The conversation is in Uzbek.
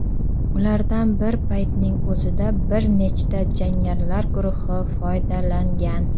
Ulardan bir paytning o‘zida bir nechta jangarilar guruhi foydalangan.